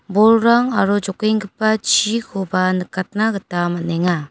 bolrang aro jokenggipa chikoba nikatna gita man·enga.